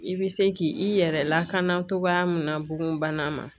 I bɛ se k'i yɛrɛ lakana cogoya min na bon bana ma